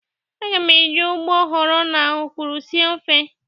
Aga m eji ụgbọghọrọ na ọkwụrụ sie ofe.